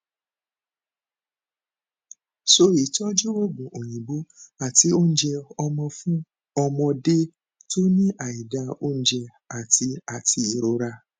so itọju oogun oyinbo ati ounje ọmọ fun ọmọdé tó ní aida ounje ati ati irorá